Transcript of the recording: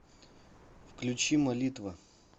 включи молитва